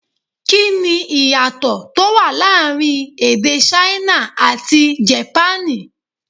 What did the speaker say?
Kí ni ìyàtọ̀ tó wà láàrin èdè Ṣáínà àti Jèpánì?